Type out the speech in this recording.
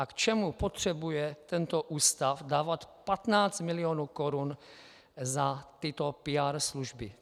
A k čemu potřebuje tento ústav dávat 15 mil. korun za tyto PR služby?